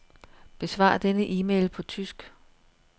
Besvar denne e-mail på tysk.